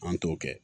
An t'o kɛ